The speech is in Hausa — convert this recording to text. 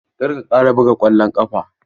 Kar ka ƙara buga ƙwallon ƙafa!